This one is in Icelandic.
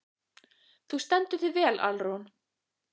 Þú stendur þig vel, Alrún!